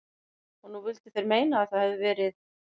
Og nú vildu þeir meina að það hefðu verið